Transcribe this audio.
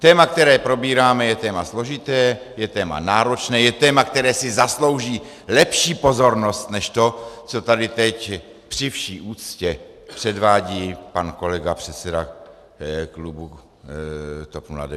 Téma, které probíráme, je téma složité, je téma náročné, je téma, které si zaslouží lepší pozornost než to, co tady teď při vší úctě předvádí pan kolega předseda klubu TOP 09 Kalousek.